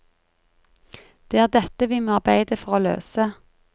Det er dette vi må arbeide for å løse.